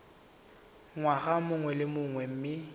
ngwaga mongwe le mongwe mme